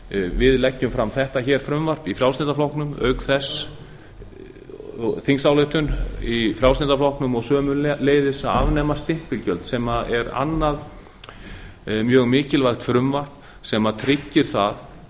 við leggjum fram þessa þingsályktun í frjálslynda flokknum og sömuleiðis að afnema stimpilgjöld sem er annað mjög mikilvægt frumvarp sem tryggir það